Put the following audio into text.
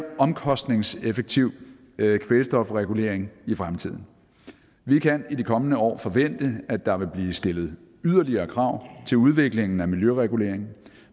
omkostningseffektiv kvælstofregulering i fremtiden vi kan i de kommende år forvente at der vil blive stillet yderligere krav til udviklingen af miljøregulering